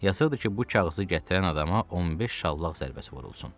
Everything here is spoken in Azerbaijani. Yazılmışdı ki, bu kağızı gətirən adama 15 şallaq zərbəsi vurulsun.